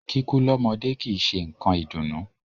Kíkú lọ́mọdé kìí ṣe nǹkan ìdùnnú.